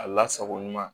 A lasago ɲuman